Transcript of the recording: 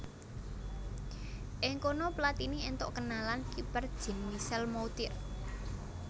Ing kono Platini éntuk kenalan kiper Jean Michel Moutier